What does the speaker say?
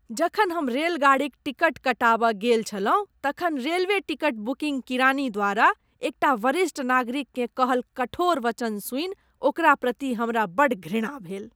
जखन हम रेलगाड़ीक टिकट कटाबय गेल छलहुँ तखन रेलवे टिकट बुकिंग किरानी द्वारा एकटा वरिष्ठ नागरिककेँ कहल कठोर वचन सुनि ओकरा प्रति हमरा बड़ घृणा भेल।